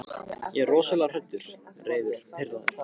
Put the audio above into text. Ég er rosalega hræddur, reiður, pirraður.